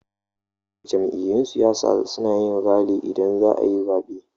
Jam'iyun siyasa suna yin rali idan zaayi zaben